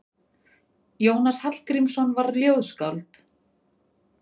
Jónas Hallgrímsson var ljóðskáld.